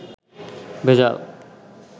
ভেজাল